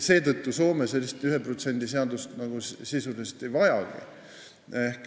Seetõttu Soome sellist 1% seadust sisuliselt ei vajagi.